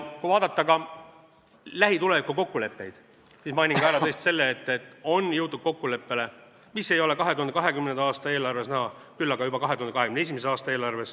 Kui vaadata ka lähituleviku kokkuleppeid, siis mainin tõesti ära ka selle, et on jõutud kokkuleppele, mis ei ole 2020. aasta eelarves näha, küll aga juba 2021. aasta eelarves.